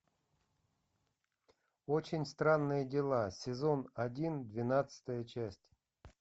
очень странные дела сезон один двенадцатая часть